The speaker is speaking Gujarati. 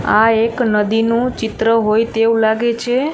આ એક નદીનું ચિત્ર હોય તેવું લાગે છે.